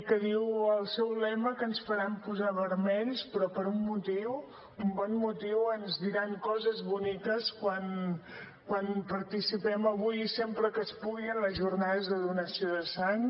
que diu el seu lema que ens faran posar vermells però per un bon motiu ens diran coses boniques quan participem avui i sempre que es pugui en les jornades de donació de sang